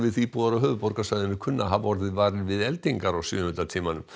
íbúar á höfuðborgarsvæðinu kunna að hafa orðið varir við eldingar á sjöunda tímanum